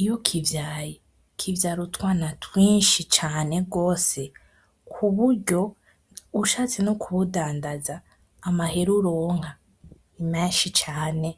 iyo kivyawe kivyara utwana twinshi cane gwose kuburyo ushatse nokubudandaza amahera uronka nimenshi cane.